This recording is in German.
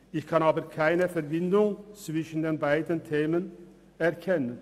Ich kann aber keine Verbindung zwischen diesen beiden Themen erkennen.